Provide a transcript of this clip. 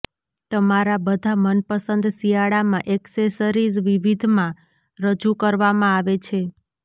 તમારા બધા મનપસંદ શિયાળામાં એક્સેસરીઝ વિવિધમાં રજૂ કરવામાં આવે છે